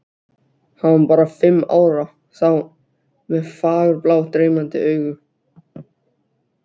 Hann var bara fimm ára þá, með fagurblá dreymandi augu.